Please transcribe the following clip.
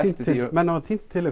menn hafa tínt til